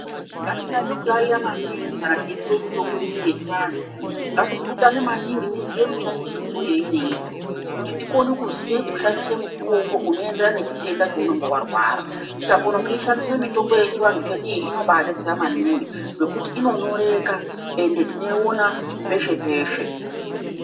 Ngatinyatso kuyaiya maningi kana teipuwe mitombo inoyi yechivantu. Ngatipurutane maningi tiziye mushandisirwo yeinoita. Kuti tikone kuziye kushandise mutombo unoenderana nechitenda chounenge warwara. Tikakona kuishandisa mitombo yechivantu chedu iyi inombaabetsera maningi ngekuti inonyoreka ende tinoiona peshe-peshe.